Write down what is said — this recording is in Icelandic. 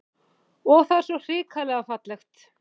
Og það er svo hrikalega fallegt